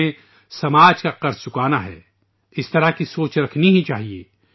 ہمیں معاشرے کا قرض ادا کرنا ہے ، اس طرح کی سوچ ہونی ہی چاہیے